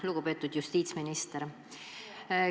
Lugupeetud justiitsminister!